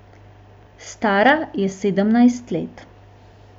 Stara je sedemnajst let.